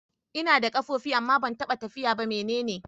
Ina da kafafu amma ban taɓa tafiya ba. Mene ne ni?